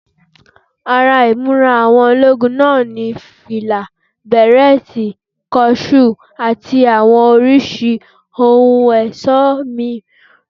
Ara ìmúra àwọn ológun náà ni fìlà, bẹ̀rẹ́ẹ̀tì, kọ ṣúù àti àwọn oríṣiríṣi ohun ẹ̀ṣọ́ mìíràn